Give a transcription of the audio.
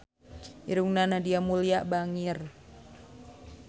Irungna Nadia Mulya bangir